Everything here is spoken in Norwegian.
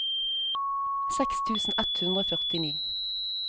seks tusen ett hundre og førtini